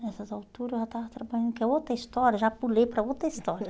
Nessas alturas eu já estava trabalhando, que é outra história, já pulei para outra história.